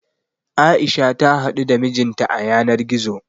A'isha ta haɗu da mijin ta a yanar gizo.